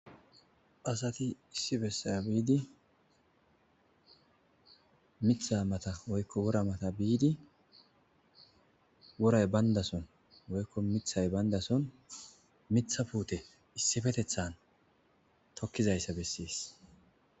Asati issi besan biidi mitha mata woyko wora matha biidi woray bandason woyko mithay bandason mitha puute issipetetan tokizaysa beses.